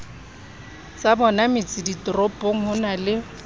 tsabona metseditoropong ho na le